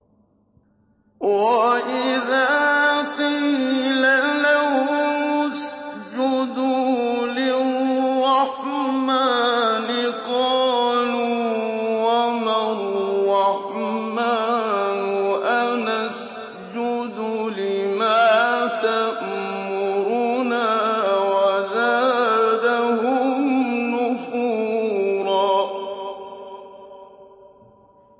وَإِذَا قِيلَ لَهُمُ اسْجُدُوا لِلرَّحْمَٰنِ قَالُوا وَمَا الرَّحْمَٰنُ أَنَسْجُدُ لِمَا تَأْمُرُنَا وَزَادَهُمْ نُفُورًا ۩